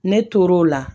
Ne tor'o la